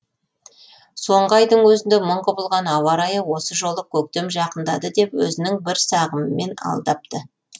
соңғы айдың өзінде мың құбылған ауа райы осы жолы көктем жақындады деп өзінің бір сағымымен алдапты